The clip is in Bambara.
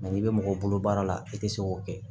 n'i bɛ mɔgɔ bolo baara la i tɛ se k'o kɛ